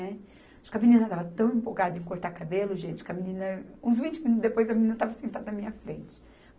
Acho que a menina estava tão empolgada em cortar cabelo, gente, que a menina, uns vinte minutos depois, a menina estava sentada na minha frente.